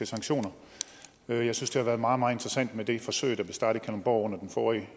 sanktioner jeg synes det har været meget meget interessant med det forsøg der blev startet i kalundborg under den forrige